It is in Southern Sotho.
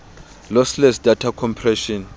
lossless data compression